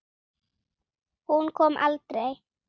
Hún kom aldrei.